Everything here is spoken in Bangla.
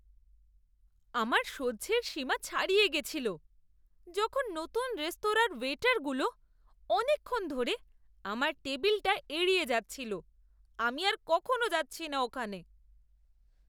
আমার সহ্যের সীমা ছাড়িয়ে গেছিল যখন নতুন রেস্তোরাঁর ওয়েটারগুলো অনেকক্ষণ ধরে আমার টেবিলটা এড়িয়ে যাচ্ছিল। আমি আর কখনো যাচ্ছি না ওখানে!